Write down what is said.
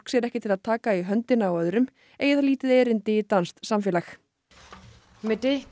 sér ekki til að taka í höndina á öðrum eigi það lítið erindi í danskt samfélag